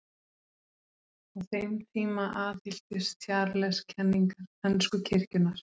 Á þeim tíma aðhylltist Charles kenningar ensku kirkjunnar.